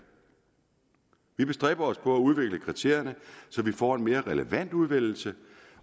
vi bestræber os på at udvikle kriterierne så vi får en mere relevant udvælgelse